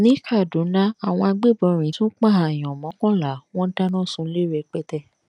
ní kàdúná àwọn agbébọnrin tún pààyàn mọ́kànlá wọn dáná sunlé rẹpẹtẹ